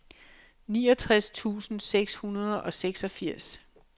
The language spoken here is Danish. niogtres tusind seks hundrede og seksogfirs